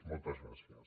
moltes gràcies